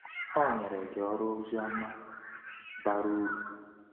O nyere gị ọrụ ozioma bara uru.”